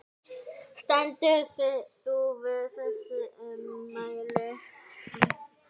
Stendur þú við þessi ummæli?